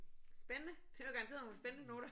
Spændende! Det var garanteret nogle spændende noter